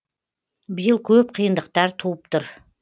биыл көп қиындықтар туып тұр